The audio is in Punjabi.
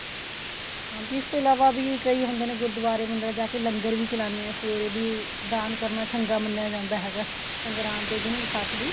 ਹਾਂ ਇਸ ਤੋਂ ਇਲਾਵਾ ਵੀ ਕਈ ਹੁੰਦੇ ਨੇ ਗੁਰਦੁਵਾਰੇ ਮੰਦਰਾ ਜਾ ਕੇ ਲੰਗਰ ਵੀ ਚਲਾਂਦੇ ਏ ਸਵੇਰੇ ਵੀ ਦਾਨ ਕਰਨਾ ਚੰਗਾ ਮੰਨਿਆ ਜਾਂਦਾ ਹੈਗਾ ਸੰਗਰਾਦ ਦੇ ਦਿਨ ਵਿਸਾਖ ਦੀ